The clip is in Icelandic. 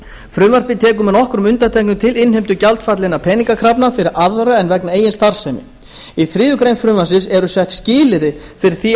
frumvarpið tekur með nokkrum undantekningum til innheimtu gjaldfallinna peningakrafna fyrir aðra en vegna eigin starfsemi í þriðju greinar frumvarpsins eru sett skilyrði fyrir því